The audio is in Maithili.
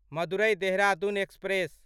मदुरै देहरादून एक्सप्रेस